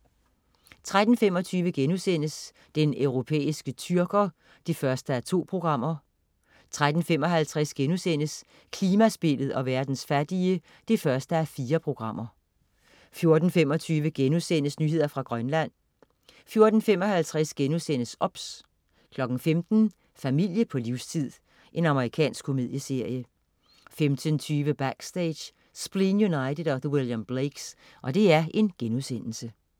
13.25 Den europæiske tyrker 1:2* 13.55 Klimaspillet og verdens fattige 1:4* 14.25 Nyheder fra Grønland* 14.55 OBS* 15.00 Familie på livstid. Amerikansk komedieserie 15.20 Backstage: Spleen United & The William Blakes*